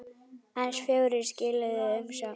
Aðeins fjórir skiluðu umsögn.